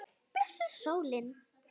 Blessuð sólin.